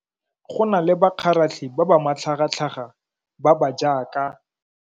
Go na le bakgaratlhi ba ba matlhagatlhaga ba ba jaaka.